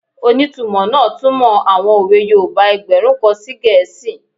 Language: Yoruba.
Onítumọ̀ náà túnmọ̀ àwọn òwe yoòbá ẹgbẹ̀rún kan sí gẹ̀ẹ́sì